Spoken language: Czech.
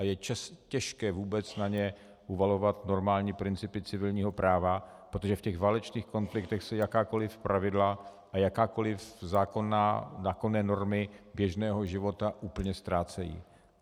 A je těžké vůbec na ně uvalovat normální principy civilního práva, protože v těch válečných konfliktech se jakákoliv pravidla a jakákoliv zákonné normy běžného života úplně ztrácejí.